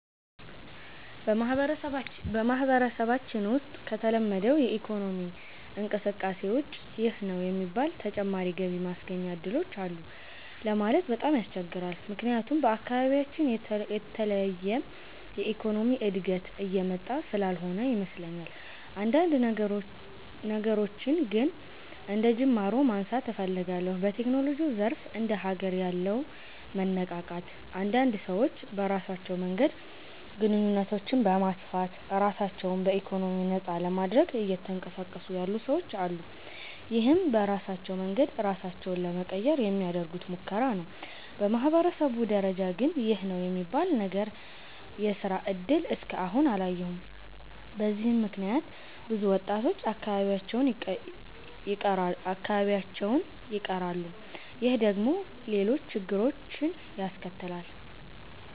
በማህበረሰባችን ውሰጥ ከተለመደው የኢኮኖሚ እንቅስቃሴ ውጭ ይህ ነው የሚባል ተጨማሪ ገቢ ማስገኛ እድሎች አሉ ለማለት በጣም ያስቸግራል። ምክያቱም በአካባቢያችን የተለየ የኢኮኖሚ እድገት እየመጣ ስላልሆነ ይመስለኛል። አንዳንድ ነገሮችን ግን አንደጅማሮ ማንሳት እፈልጋለሁ። በቴክኖሎጂው ዘርፍ እንደ ሀገር ያለው መነቃቃት አንዳንድ ሰዎች በራሳቸው መንገድ ግንኙነቶችን በማስፋት ራሳቸው በኢኮኖሚ ነፃ ለማድረግ እየተንቀሳቀሱ ያሉ ሰወች አሉ። ይህም በራሳቸው መንገድ ራሳቸውን ለመቀየር የሚያደርጉት ሙከራ ነው። በማህበረሰብ ደረጃ ግን ይህ ነው የሚባል ነገር የስራ እድል እስከ አሁን አላየሁም። በዚህም ምክንያት ብዙ ወጣቶች አካባቢያቸውን ይቀራሉ። ይህ ደግሞ ሌሎች ችግሮችን ያስከትላል።